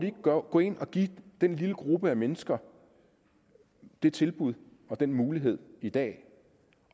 ikke gå ind og give den lille gruppe mennesker det tilbud og den mulighed i dag